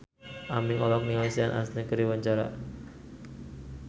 Aming olohok ningali Sean Astin keur diwawancara